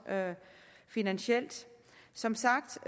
finansielt som sagt